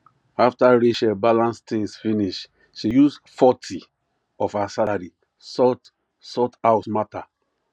after rachel balance things finish she use forty of her salary sort sort house matter